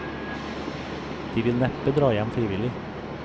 De vil neppe dra hjem frivillig.